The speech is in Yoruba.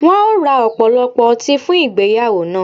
Wọn ó ra ọ̀pọ̀lọpọ̀ ọti fun igbeyawo na